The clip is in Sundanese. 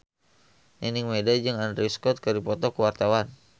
Nining Meida jeung Andrew Scott keur dipoto ku wartawan